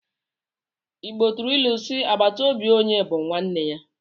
Igbo tụrụ ilu si 'agbàtà óbị onye bú nwanne ya '